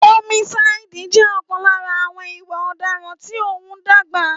Ómísáídì jẹ́ ọ̀kan lára àwọn ìwà ọ̀daràn tí óún dàgbà